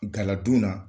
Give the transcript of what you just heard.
Galadon na